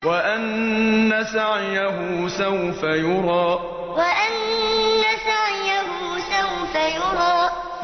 وَأَنَّ سَعْيَهُ سَوْفَ يُرَىٰ وَأَنَّ سَعْيَهُ سَوْفَ يُرَىٰ